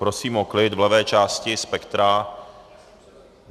Prosím o klid v levé části spektra.